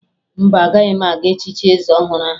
Mba, agaghị m aga echichi eze ọhụrụ ahụ